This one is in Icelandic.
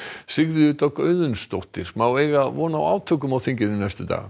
Sigríður Dögg Auðunsdóttir má eiga von á átökum á þinginu næstu daga